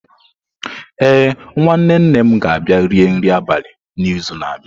Ee, nwanne nne m ga-abịa rie nri abalị n'izu na-abịa.